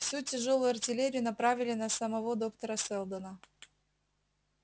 всю тяжёлую артиллерию направили на самого доктора сэлдона